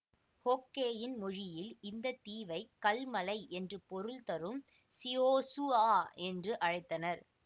ஹோக்கெயின் மொழியில் இந்த தீவை கல் மலை என்று பொருள் தரும் ஸிஒஹ் ஸுஆ என்று அழைத்தனர்